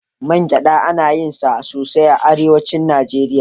Man gyaɗa ana yin sa ne sosai a Arewacin Najeriya.